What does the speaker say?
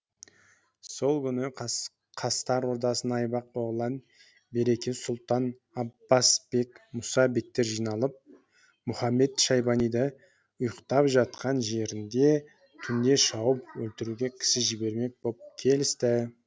сол күні қастар ордасына айбақ оғлан береке сұлтан аббас бек мұса бектер жиналып мұхамед шайбаниды ұйықтап жатқан жерінде түнде шауып өлтіруге кісі жібермек боп келісті